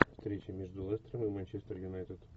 встреча между лестером и манчестер юнайтед